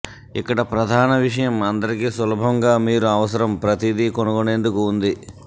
ఇక్కడ ప్రధాన విషయం అందరికీ సులభంగా మీరు అవసరం ప్రతిదీ కనుగొనేందుకు ఉంది